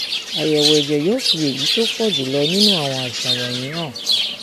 àyẹwò ẹjẹ yóò fi èyí tó pọ jù lọ nínú àwọn àìsàn wọnyí hàn